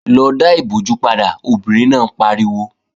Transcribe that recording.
Lọ dá ìbojú padà, obìnrin náà pariwo!